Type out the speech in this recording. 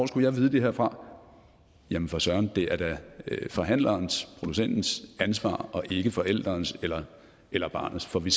skulle jeg vide det her fra jamen for søren det er da forhandlerens producentens ansvar og ikke forælderens eller eller barnets for vi